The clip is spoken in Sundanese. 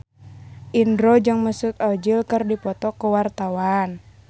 Indro jeung Mesut Ozil keur dipoto ku wartawan